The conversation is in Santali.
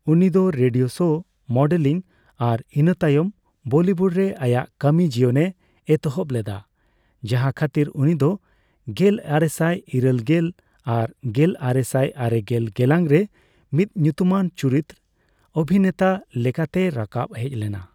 ᱩᱱᱤᱫᱚ ᱨᱮᱰᱤᱭᱳ ᱥᱳ, ᱢᱚᱰᱮᱞᱤᱝ ᱟᱨ ᱤᱱᱟᱹ ᱛᱟᱭᱚᱢ ᱵᱚᱞᱤᱣᱩᱰ ᱨᱮ ᱟᱭᱟᱜ ᱠᱟᱹᱢᱤ ᱡᱤᱭᱚᱱᱮ ᱮᱛᱚᱦᱚᱵ ᱞᱮᱫᱟ, ᱡᱟᱦᱟᱸ ᱠᱷᱟᱹᱛᱤᱨ ᱩᱱᱤᱫᱚ ᱜᱮᱞᱟᱨᱮᱥᱟᱭ ᱤᱨᱟᱹᱞᱜᱮᱞ ᱟᱨ ᱜᱮᱞᱟᱨᱮᱥᱟᱭ ᱟᱨᱮᱜᱮᱞ ᱜᱮᱞᱟᱝ ᱨᱮ ᱢᱤᱫ ᱧᱩᱛᱩᱢᱟᱱ ᱪᱩᱨᱤᱛ ᱚᱵᱷᱤᱱᱮᱛᱟ ᱞᱮᱠᱟᱛᱮᱭ ᱨᱟᱠᱟᱵ ᱦᱮᱡ ᱞᱮᱱᱟ ᱾